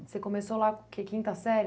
Você começou lá, que é quinta série?